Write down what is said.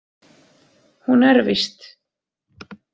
Hún er víst.